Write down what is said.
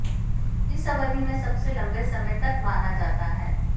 इस अवधि में सबसे लंबे समय तक माना जाता है